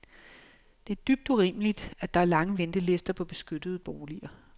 Det er dybt urimeligt, at der er lange ventelister på beskyttede boliger.